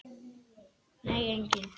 Nei, enginn